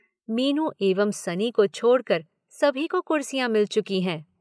मीनू एवं सनी को छोड़कर सभी को कुर्सियाँ मिल चुकीं हैं।